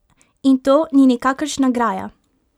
In to ni nikakršna graja!